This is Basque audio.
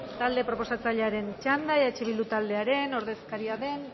talde proposatzailearen txanda eh bildu taldearen ordezkaria den